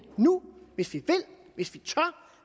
nu hvis vi vil